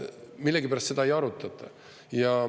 Millegipärast seda ei arutata.